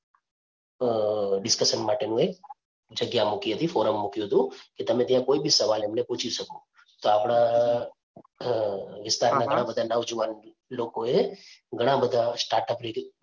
અ discussion માટેનું એક જગ્યા મૂકી હતી, ફોરમ મૂક્યું હતું કે તમે ત્યાં કોઈ બી સવાલ એમને પૂછી શકો. તો આપણાં વિસ્તારના અ ઘણા બધા નવજુવાન લોકો એ ઘણા બધા start up